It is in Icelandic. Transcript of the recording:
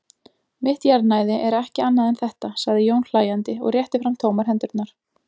Mitt jarðnæði er ekki annað en þetta, sagði Jón hlæjandi og rétti fram tómar hendurnar.